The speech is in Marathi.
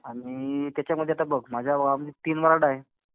आणि त्याच्यामध्ये आता बघ. माझ्या गावामध्ये तीन वॉर्ड आहे.